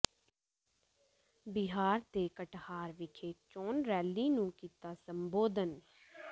ਬਿਹਾਰ ਦੇ ਕਟਿਹਾਰ ਵਿਖੇ ਚੋਣ ਰੈਲੀ ਨੂੰ ਕੀਤਾ ਸੰਬੋਧਨ